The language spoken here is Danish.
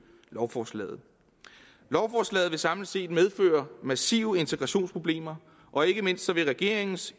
lovforslaget lovforslaget vil samlet set medføre massive integrationsproblemer og ikke mindst vil regeringens